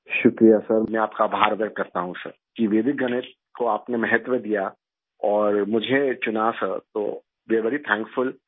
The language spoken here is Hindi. शुक्रिया सर मैं आपका आभार व्यक्त करता हूँ सर कि वैदिक गणित को आपने महत्व दिया और मुझे चुना सर तो वे एआरई वेरी थैंकफुल